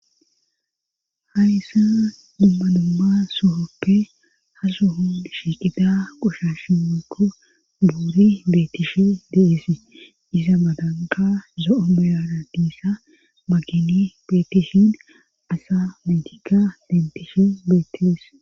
hayssan dumma dumma sohoppe ha sohon shiqida qoshashimekko buuri beetishe deesii iza madanka zo7o meyana diissa magini beetishin asa mentika dentishe beetes